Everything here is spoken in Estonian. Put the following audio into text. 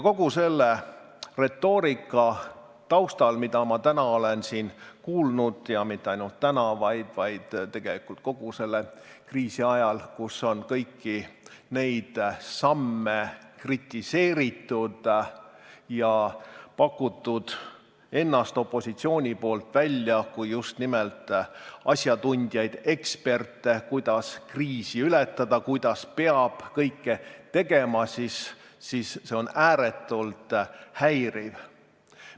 Kogu see retoorika, mida ma täna olen siin kuulnud, ja mitte ainult täna, vaid tegelikult kogu selle kriisi ajal, kui on kõiki neid samme kritiseeritud ja pakutud opositsiooni poolt ennast välja kui just nimelt asjatundjaid, eksperte, kuidas kriisi ületada, kuidas peaks kõike tegema, on ääretult häiriv.